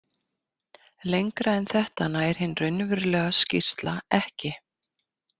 Lengra en þetta nær hin raunverulega skýrsla ekki.